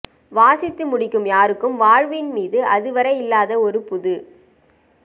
வாசித்து முடிக்கும் யாருக்கும் வாழ்வின் மீது அதுவரை இல்லாத ஒரு புதுப்